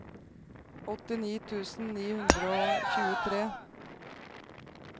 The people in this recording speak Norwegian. åttini tusen ni hundre og tjuetre